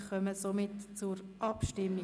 Wir kommen somit zur Abstimmung.